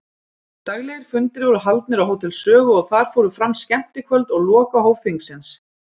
Daglegir fundir voru haldnir á Hótel Sögu og þar fóru fram skemmtikvöld og lokahóf þingsins.